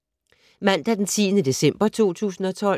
Mandag d. 10. december 2012